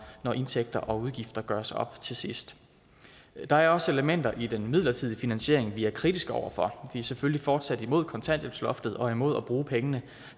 når indtægter og udgifter gøres op til sidst der er også elementer i den midlertidige finansiering vi er kritiske over for vi er selvfølgelig fortsat imod kontanthjælpsloftet og imod at bruge pengene